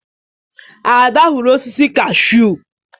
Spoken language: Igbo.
Ada huru osisi kashụ.